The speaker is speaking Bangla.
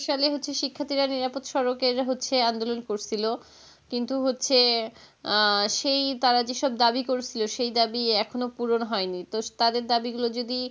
সালে হচ্ছে শিক্ষার্থীরা নিরাপদ সড়কে হচ্ছে আন্দোলন করছিল কিন্তু হচ্ছে আহ সেই তাঁরা যেসব দাবি করেছিল, সেই দাবি এখনও পুরণ হয়নি. তো তাদের দাবি গুলো যদি,